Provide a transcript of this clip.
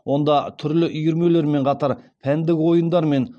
онда түрлі үйірмелермен қатар пәндік ойындармен